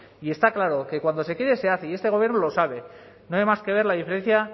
y está claro que cuando se quiere se hace y este gobierno lo sabe no hay más que ver la diferencia